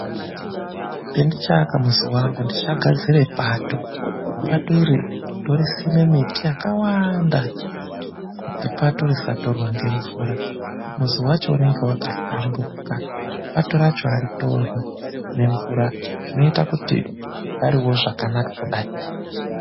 PENDICHAAKA MUZI WANGU NDICHAGADZIRE PATO . PATO IRI NDORISIME MITI YAKAWANDA KUTI PATO RISATORWA NGEMVURA. MUZI WACHO UNENGE WAKAHLAMBURUKA PATO RACHO HARITORWI NEMVURA ZVINOITA KUTI UGAREWO ZVAKANAKA KUDAI.